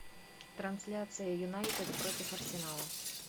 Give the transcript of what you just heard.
трансляция юнайтед против арсенала